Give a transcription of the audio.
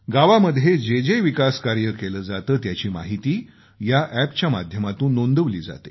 गावामध्ये जे जे विकास कार्य केलं जातं त्याची माहिती या अॅपच्या माध्यमातून नोंदवली जाते